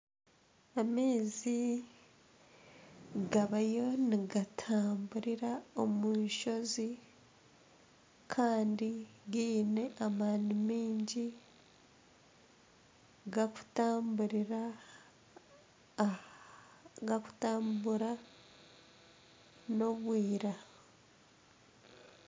Amaizi gabayo nigatamburira omu enshozi Kandi giine amaani maingi gakutambura n'obwiira.